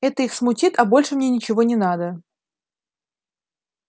это их смутит а больше мне ничего не надо